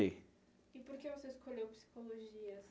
E por que você escolheu psicologia?